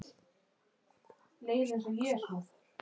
Erla: Hefurðu smakkað svona áður?